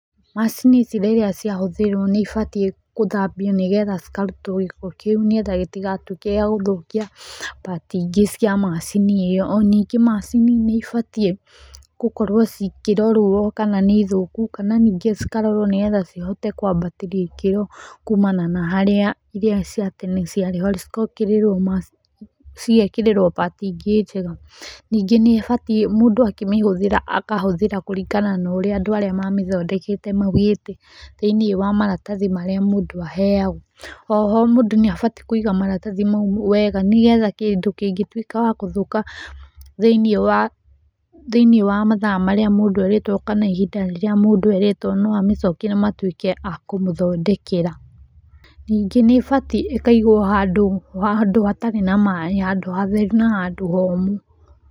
Macini ici rĩrĩa ciahũthĩrwo nĩ ibatiĩ gũthambio nigetha cikarutwo gĩko kĩu nĩgetha gĩtigatuĩke gĩa gũthũkia, part ingĩ cia macini ĩyo. O ningĩ macini nĩ ĩbatie, cikĩrorwo kana nĩ thũku kana ningĩ cikarorwo nĩgetha cihote kwambatĩria ikĩro kuumana na harĩa irĩa cia tene ciarĩ arabu cigekĩrĩrwo part ingĩ njega. Ningĩ nĩ ĩbatiĩ mũndũ akĩmĩhũthĩra akahũthĩra kũringana na ũrĩa andũ arĩa mamĩthondekete maugĩte thĩinĩ wa maratahi marĩa mũndũ aheagwo. O ho mũndũ nĩ abatiĩ kũiga maratathi mau wega nĩgetha kĩndũ kĩngĩtuĩka wa gũthũka thĩinĩ wa mathaa marĩa mũndũ erĩtwo no amĩcokie na matuĩke a kũmũthondekera. Ningĩ nĩ ĩbatiĩ ĩkaigwo handũ hatarĩ na maĩ handũ hatheru na handũ homũ.